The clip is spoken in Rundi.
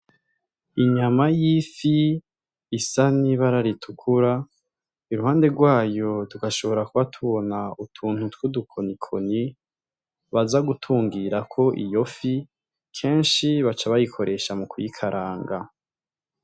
Inyama y' ifi isa n' ibara ritukura iruhande gwayo tugashobora kuba tubona utuntu twudu koni koni baza gutungirako iyo fi kenshi baca bayikoresha mu kuyikaranga.